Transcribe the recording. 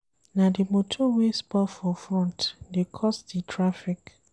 Na di motor wey spoil for front dey cause di traffic.